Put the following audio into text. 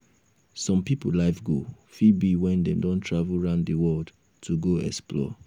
some pipo life goal fit be when dem don travel round di world to go explore